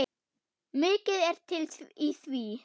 Mikið er til í því.